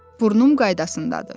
Burnum qaydasındadır.